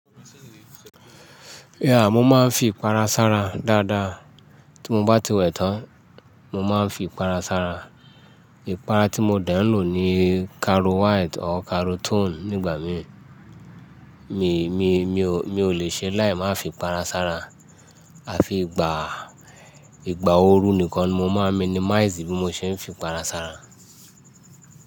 Yeah, mo máa ń fi ipara sára dáadáa. Tí mo bá ti wẹ̀ tán, mo máa ń fi ipara sára. Ipara tí mo dẹ́ ń lò ni Caro White or Caro Tone nígbà mí. Mi ò lè ṣe láì má fi ipara sára. A fi ìgbà, ìgbà ooru nìkan ni mo máa minimize bí mo ṣe ń fi ipara sára.